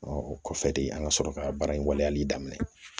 o kɔfɛ de an ka sɔrɔ ka baara in waleyali daminɛ